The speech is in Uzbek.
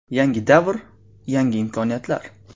Yangi davr – yangi imkoniyatlar!